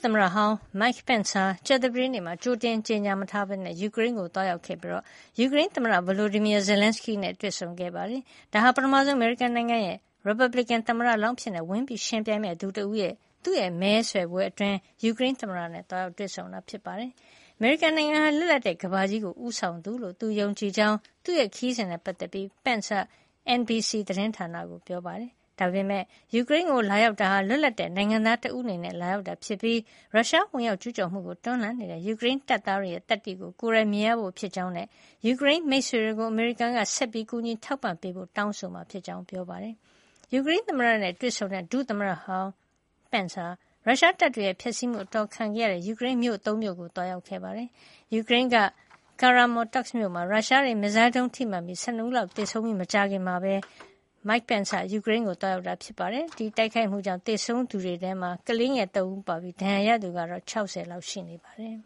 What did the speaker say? သမ္မတဟောင်း Mike Pence ဟာ ကြာသပတေးနေ့မှာ ကြိုတင် မကြေညာပဲ ယူကရိန်းကို သွားရောက်ခဲ့ပြီး ယူကရိန်းသမ္မတ Volodymyr Zelenskyy နဲ့ တွေ့ဆုံခဲ့ပါတယ်။ ဒါဟာ အမေရိကန်နိုင်ငံက ရီပတ်ဘလစ်ကင် သမ္မတလောင်းအဖြစ် ဝင်ရောက်ယှဉ်ပြိုင်မယ့်သူတွေထဲက ပထမဆုံးသူအဖြစ် ယူကရိန်းသမ္မတကို သွားရောက်တွေ့ဆုံတာ ဖြစ်ပြီး ၊ သူ့မဲဆွယ်ကာလအတွင်း သွားရောက်တာလည်း ဖြစ်ပါတယ်။ အမေရိကန်နိုင်ငံဟာ လွတ်လပ်တဲ့ ကမ္ဘာကြီးကို ဦးဆောင်သူလို့ သူယုံကြည်ကြောင်း သူ့ခရီးစဉ်နဲ့ ပတ်သက်ပြီး Pence က NBC သတင်းဌာနကကို ပြောပါတယ်။ ယူကရိန်းကို လာရောက်တာဟာ လွတ်လပ်တဲ့နိုင်ငံသား တဦးအနေနဲ့ လာတာဖြစ်ပြီး ရုရှား ဝင်ရောက်ကျူးကျော်မှုကို တွန်းလှန်နေတဲ့ ယူကရိန်းတပ်သားတွေရဲ့ သတ္တိကို ကိုယ်တိုင်မြင်ရဖို့ ဖြစ်ကြောင်းနဲ့ ယူကရိန်းမိတ်ဆွေတွေကို အမေရိကန်က ဆက်ပြီး ကူညီထောက်ပံ့ပေးဖို့ တောင်းဆိုမှာ ဖြစ်ကြောင်း ပြောပါတယ်။ ယူကရိန်းသမ္မတနဲ့ တွေ့ဆုံခဲ့တဲ့ ဒုသမ္မတဟောင်း Pence ဟာ ရုရှားတပ်တွေရဲ့ ဖျက်ဆီးမှု အတော်ခံထားရတဲ့ Moshchun, Bucha နဲ့ Irpin တို့လို ကရိန်းမြို့တွေကိုလည်း သွားရောက်ခဲ့ပါတယ်။ ယူကရိန်းက Kramatorsk မြို့မှာ ရုရှားရဲ့ မစ်ဇိုင်းဒုံး ထိမှန်လို့ လူ ၁၂ ဦးလောက် သေဆုံးခဲ့ရပြီးနောက် မကြာခင်မှာပဲ Mike Pence က ယူကရိန်းကို သွားရောက်တာ ဖြစ်ပါတယ်။ ဒီတိုက်ခိုက်မှုကြောင့် သေဆုံးရသူတွေထဲမှာ ကလေးငယ် ၃ ဦး ပါနေတာဖြစ်ပြီး ဒဏ်ရာရသူကတော့ ၆၀ လောက်ရှိတယ်